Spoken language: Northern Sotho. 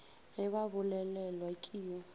ge ba bolelelwa ke yo